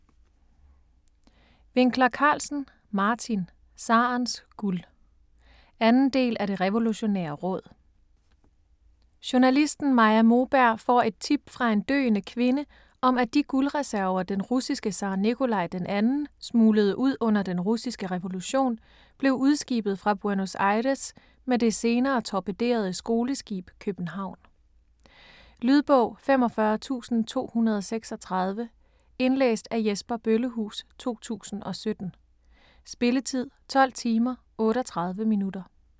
Winckler-Carlsen, Martin: Zarens guld 2. del af Det Revolutionære Råd. Journalisten Maja Moberg får et tip fra en døende kvinde om, at de guldreserver, den russiske zar Nikolaj den 2. smuglede ud under den russiske revolution, blev udskibet fra Buenos Aires med det senere torpederede skoleskib København. Lydbog 45236 Indlæst af Jesper Bøllehuus, 2017. Spilletid: 12 timer, 38 minutter.